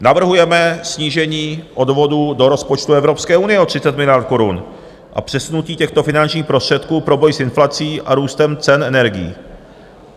Navrhujeme snížení odvodů do rozpočtu Evropské unie o 30 miliard korun a přesunutí těchto finančních prostředků pro boj s inflací a růstem cen energií.